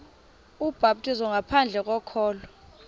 ubhaptizo ngaphandle kokholo